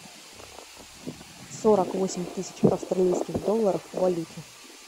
сорок восемь тысяч австралийских долларов в валюте